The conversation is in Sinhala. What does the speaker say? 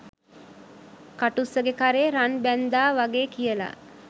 කටුස්සගෙ කරේ රන් බැන්ඳා වගේ කියලා